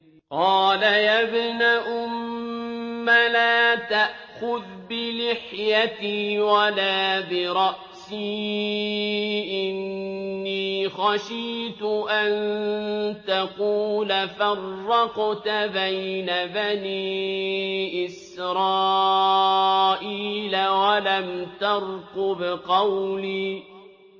قَالَ يَا ابْنَ أُمَّ لَا تَأْخُذْ بِلِحْيَتِي وَلَا بِرَأْسِي ۖ إِنِّي خَشِيتُ أَن تَقُولَ فَرَّقْتَ بَيْنَ بَنِي إِسْرَائِيلَ وَلَمْ تَرْقُبْ قَوْلِي